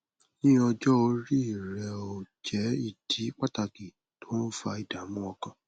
ní ọjọ orí rẹó jẹ ìdí pàtàkì tó ń fa ìdààmú ọkàn